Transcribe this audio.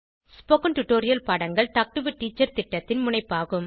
spoken tutorial பாடங்கள் talk to a teacher திட்டத்தின் முனைப்பாகும்